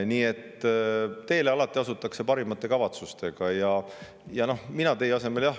Nii et teele asutakse alati parimate kavatsustega.